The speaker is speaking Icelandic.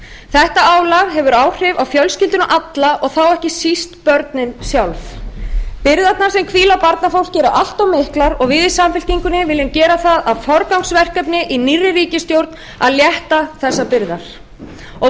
þetta álag hefur áhrif á fjölskylduna alla og þá ekki síst börnin sjálf byrðarnar sem hvíla á barnafólki eru allt of miklar og við í samfylkingunni viljum gera það að forgangsverkefni í nýrri ríkisstjórn að létta þessar byrðar og